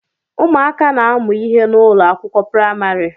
Ụmụaka na-amu ihe n'ụlọ akwụkwọ praịmarị